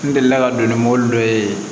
N delila ka don ni mobili dɔ ye